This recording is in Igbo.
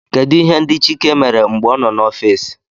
Kedu ihe ndị chike mere mgbe ọ nọ n'ọfịs?